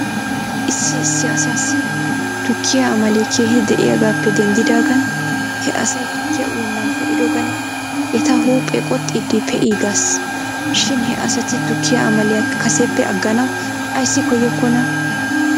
Issi issi asaassi tukkiyaa amalee keehi de'iyaagaappe denddidaagan he asay tukkiyaa uyennan pee'ido gala eta huuphee qoxxiidi pee'iigas shin he asati tukkiyaa amaliyaa kaseppe aganaw ayssi koyokkonaa?